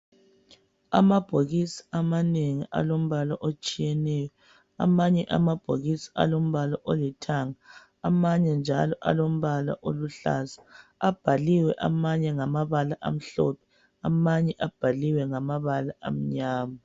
Amabhokisi amanengi alombala otshiyeneyo. Amanye amabhokisi alombala olithanga, amanye njalo alombala oluhlaza. Abhalaliwe amanye ngamabala amhlophe, amanye abhaliwe ngamabala amnyama.